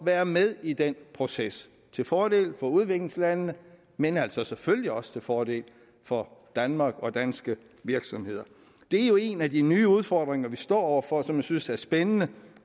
være med i den proces til fordel for udviklingslandene men altså selvfølgelig også til fordel for danmark og danske virksomheder det er jo en af de nye udfordringer vi står over for og som jeg synes er spændende